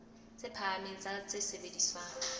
tse phahameng tsa tse sebediswang